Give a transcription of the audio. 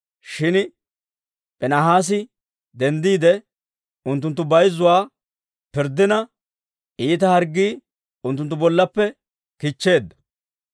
Shin Piinhaasi denddiide, unttunttu bayzzuwaa pirddina, iita harggii unttunttu bollaappe kichcheedda.